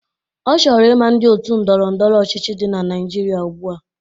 Ọ chọrọ ị ma ndị otu ndọrọ ndọrọ ọchịchị dị na Naịjirịa ugbua